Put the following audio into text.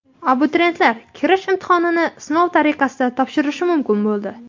Abituriyentlar kirish imtihonini sinov tariqasida topshirishi mumkin bo‘ldi.